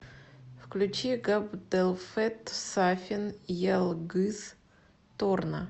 включи габделфэт сафин ялгыз торна